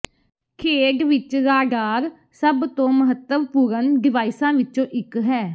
ਖੇਡ ਵਿੱਚ ਰਾਡਾਰ ਸਭ ਤੋਂ ਮਹੱਤਵਪੂਰਣ ਡਿਵਾਈਸਾਂ ਵਿੱਚੋਂ ਇੱਕ ਹੈ